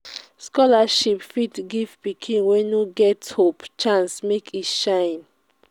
scholarship fit give pikin wey no get hope chance make e shine.